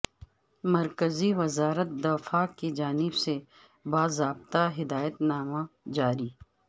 مرکزی وزارت دفاع کی جانب سے باضابطہ ہدایت نامی جاری